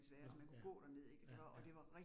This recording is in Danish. Nåh ja. Ja, ja